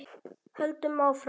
Höldum áfram.